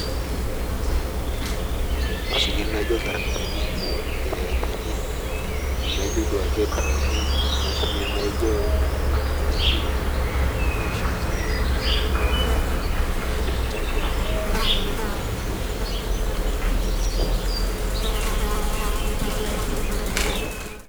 Imashini najio iltarakitani derevani najio duoake toni mashinini najio naitumia ositima aosh nkare te3kop nalakua epik ilchambai enoto olorere neun ndaiki eche aiko nejia.